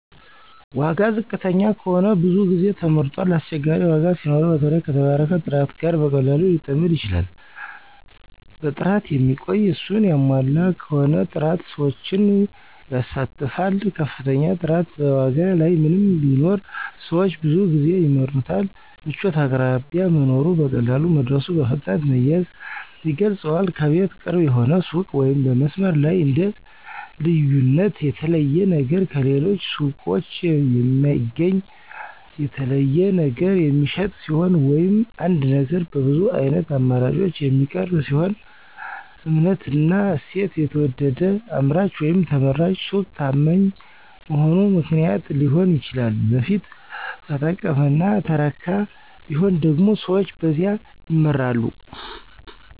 1. ዋጋ ዋጋ ዝቅተኛ ከሆነ ብዙ ጊዜ ተመርጧል አስቸጋሪ ዋጋ ሲኖረው በተለይ ከተባረከ ጥራት ጋር በቀላሉ ሊጠምድ ይችላል 2. ጥራት የሚቆይ፣ እሱን ያሟላ በሆነ ጥራት ሰዎችን ይሳተፋል ከፍተኛ ጥራት በዋጋ ላይ ምንም ቢኖር ሰዎች ብዙ ጊዜ ይምረጡታል 3. ምቾት አቅራቢያ መኖሩ፣ በቀላሉ መድረሱ፣ በፍጥነት መያዝ ያስገልጿል ከቤት ቅርብ የሆነ ሱቅ ወይም በመስመር ላይ እንደ 4. ልዩነት የተለየ ነገር ከሌሎች ሱቆች የማይገኝ፣ በተለይ ነገር የሚሸጥ ሲሆን ወይም አንድ ነገር በብዙ ዓይነት አማራጮች የሚቀርብ ሲሆን 5. እምነትና እሴት የተወደደ አምራች ወይም ተመራጭ ሱቅ ታማኝ መሆኑ ምክንያት ሊሆን ይችላል በፊት ተጠቀመና ተረካ ቢሆን ደግሞ ሰዎች በዚያ ይመራሉ